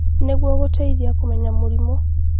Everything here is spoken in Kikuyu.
Nĩguo gũteithia kũmenya mĩrimũ